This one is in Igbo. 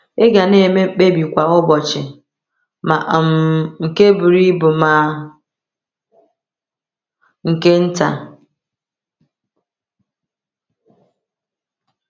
Ị ga na-eme mkpebi kwa ụbọchị, ma um nke buru ibu ma nke nta.